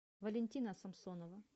валентина самсонова